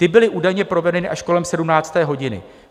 Ty byly údajně provedeny až kolem 17. hodiny.